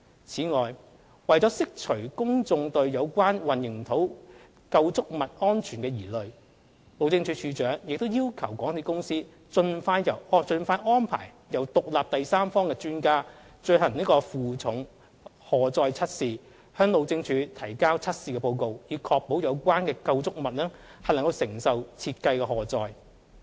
此外，為釋除公眾對有關混凝土構築物安全的疑慮，路政署署長亦要求港鐵公司盡快安排由獨立第三方專家進行負重荷載測試，向路政署提交測試報告，以確保有關構築物能承受設計的荷載。